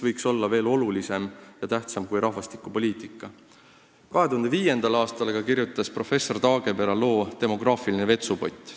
2005. aastal aga kirjutas professor Taagepera loo "Demograafiline vetsupott".